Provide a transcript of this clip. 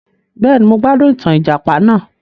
Béèni, mo gbádùn ìtàn ìjàpà náà